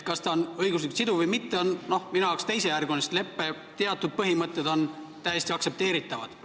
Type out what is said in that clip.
Kas ta on õiguslikult siduv või mitte, on minu arvates teisejärguline, sest leppe teatud põhimõtted on täiesti aktsepteeritavad.